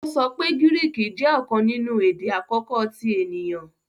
o sọ pé Griiki jé ọkàn nínú èdè àkókò ti èniyàn.